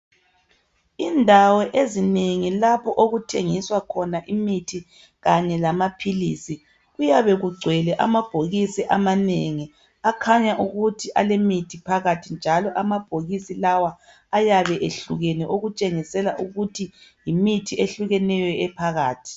Indawo ezinengi lapho okuthengiswa khona imithi Kanye lamaphilisi kuyabe kungcwele amabhokisi amanengi akhanya ukuthi alemithi phakathi njalo amabhokisi lawa ayabe ehlukene okuntshengisela ukuthi yimithi ehlukeneyo ephakathi